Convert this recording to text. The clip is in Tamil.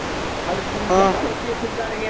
அது full ஆ ஒட்டிவெச்ருக்கானுங்க